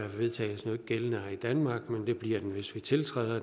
vedtagelsen ikke gældende i danmark men det bliver den hvis vi tiltræder